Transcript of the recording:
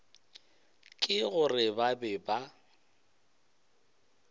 ke gore ba be ba